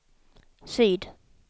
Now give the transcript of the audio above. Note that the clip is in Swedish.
syd